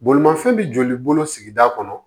Bolimafɛn bɛ joli bolo sigida kɔnɔ